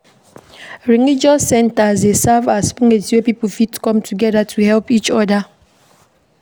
Religious centres dey serve as place wey pipo fit come together to help each oda